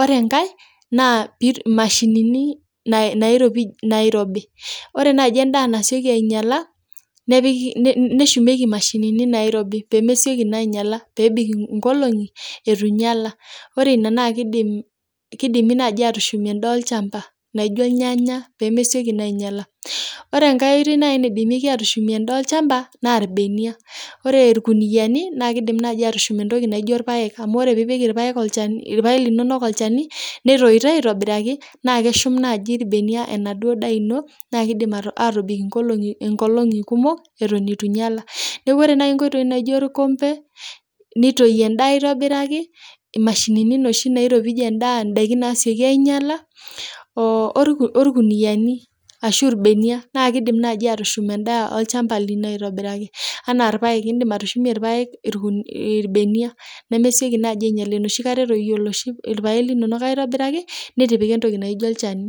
Ore enkae naa mashinini naairibi, ore naaji endaa nasioki ainyala neshumieki imashinini naairobi pee mesioki naa anyala, nebik nkolong'i eitu inyala. Ore ina naa keshumieki naaji ndaiki olchamba naaijo irnyanya pee mesioki naa aainyala. Ore enkae oitoi naaji nadimi aatushumie ndaiki olchamba naa, irbenia. Ore irkuniyiani naa kidim aatushum entoki naaijo irpaek, amuu ore piipik irpaek linono olchani netoito aaitobiraki, naa kedhum naaji irbenia enaaduo daa ino naa kebik inkolong'i eitu inyala. Neeku ore naaji nkoitoi naaijo orkombe nitooi endaa aaitobiraki, imashinini noshi naashumieki endaa pee mesioki aainyala irkuniyiani ashuu irbenia, naa keshum endaa naaijo irpaek tenetoyu aaitobiraki tenepiki olchani.